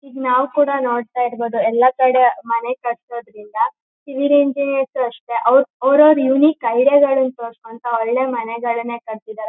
ಈಗ ನಾವುಕೂಡ ನೋಡತಾಇರಬಹುದು ಎಲ್ಲಾ ಕಡೆ ಮನೆ ಕಟ್ಟೋದ್ರಿಂದ ಅಷ್ಟೇ ಅವರ ಅವರವರ ಯುನಿಕ್ ಐಡಿಯಾ ಗಳನು ತೋರಸ್ಕೊಂತ ಒಳ್ಳೆ ಮನೆಗಳನ್ನೇ ಕಟ್ಟಸಿದ್ದಾರೆ.